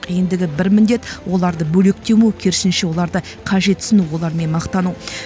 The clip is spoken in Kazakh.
ендігі бір міндет оларды бөлектемеу керісінше оларды қажетсіну олармен мақтану